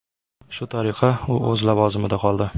Shu tariqa, u o‘z lavozimida qoldi.